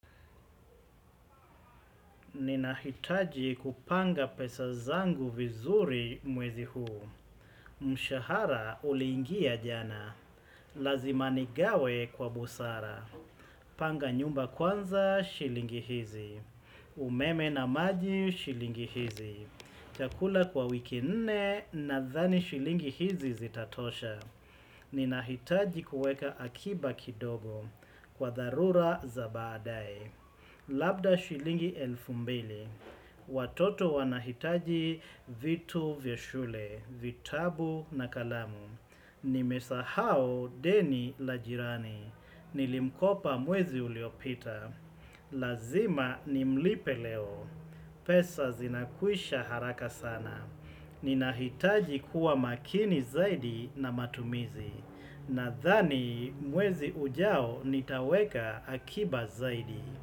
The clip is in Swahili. Ninahitaji kupanga pesa zangu vizuri mwezi huu. Mshahara uliingia jana. Lazima nigawe kwa busara. Panga nyumba kwanza shilingi hizi. Umeme na maji shilingi hizi. Chakula kwa wiki nne nadhani shilingi hizi zitatosha. Ninahitaji kueka akiba kidogo kwa dharura za baadae. Labda shilingi elfu mbili. Watoto wanahitaji vitu vya shule, vitabu na kalamu. Nimesahau deni la jirani. Nilimkopa mwezi uliopita. Lazima nimlipe leo. Pesa zinakwisha haraka sana. Ninahitaji kuwa makini zaidi na matumizi. Nadhani mwezi ujao nitaweka akiba zaidi.